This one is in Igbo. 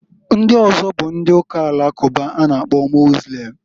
Ndị ọzọ bụ ndị Uka Alakụba a na -akpọ ndị Mozlem.